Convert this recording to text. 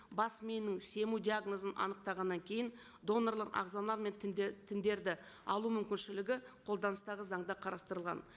бас миының диагнозын анықтағаннан кейін донорлық ағзалар мен тіндерді алу мүмкіншілігі қолданыстағы заңда қарастырылған